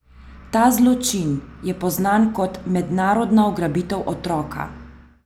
Ta zločin je poznan kot mednarodna ugrabitev otroka.